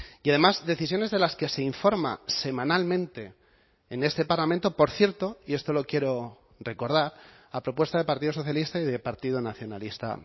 y además decisiones de las que se informa semanalmente en este parlamento por cierto y esto lo quiero recordar a propuesta del partido socialista y del partido nacionalista